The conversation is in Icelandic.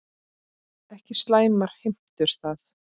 Ekki slæmar heimtur það.